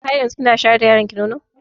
Har yanzu kina shayar da yaronki nono kuwa?